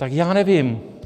Tak já nevím.